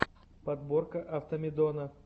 подборка автомедона